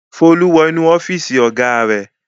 Folú wọ inú ọ́fíísì ọ̀gá rẹ̀.